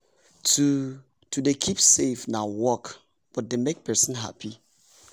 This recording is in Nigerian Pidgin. to to dey keep save na work but dey make person happy